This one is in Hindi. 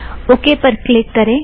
ओ के पर क्लिक करें